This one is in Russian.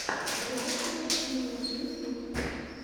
реакция стримеров ютюб